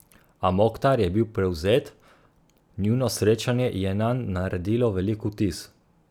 A Moktar je bil prevzet, njuno srečanje je nanj naredilo velik vtis.